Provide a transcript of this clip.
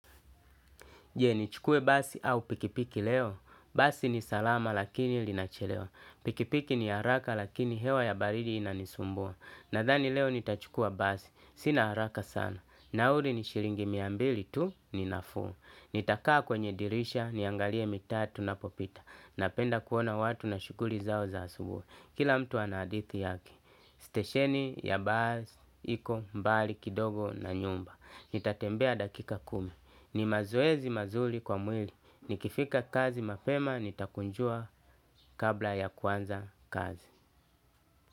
Je nichukue basi au pikipiki leo? Basi ni salama lakini linachelewa. Pikipiki ni haraka lakini hewa ya baridi inanisumbua. Nadhani leo nitachukua basi. Sina haraka sana. Nauki ni shilingi mia mbili tu ni nafuu. Nitakaa kwenye dirisha niangalie mitaa tunapopita. Napenda kuona watu na shughuli zao za asubuhi. Kila mtu ana hadithi yake. Stesheni ya basi, iko, mbali, kidogo na nyumba. Nitatembea dakika kumi. Ni mazoezi mazuri kwa mwili. Nikifika kazi mapema, nitakunjua kabla ya kuanza kazi.